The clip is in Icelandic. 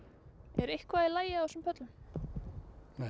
er eitthvað í lagi á þessum pöllum nei